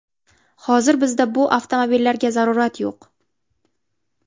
Hozir bizda bu avtomobillarga zarurat yo‘q.